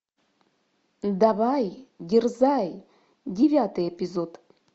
давай дерзай девятый эпизод